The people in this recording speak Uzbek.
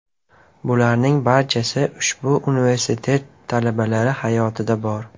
Bularning barchasi ushbu universitet talabalari hayotida bor.